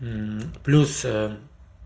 плюс